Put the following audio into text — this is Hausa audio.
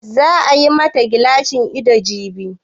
Za a yi ma ta gilashin ido jibi?